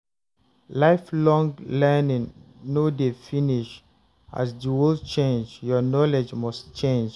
Lifelong learning no dey finish; as the world change, your knowledge must change.